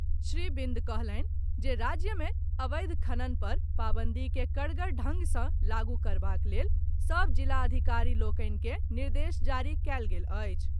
श्री बिंद कहलनि जे राज्य मे अवैध खनन पर पाबंदी के कड़गर ढंग सॅ लागू करबाक लेल सभ जिलाधिकारी लोकनि के निर्देश जारी कयल गेल अछि।